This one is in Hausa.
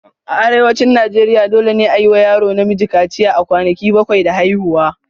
A Arewacin Najeriya, dole ne a yi wa yaro namiji kaciya a kwanaki bakwai da haihuwa.